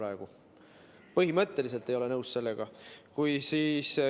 Ma põhimõtteliselt ei ole sellega nõus.